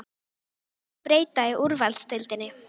Hverju viltu breyta í úrvalsdeildinni?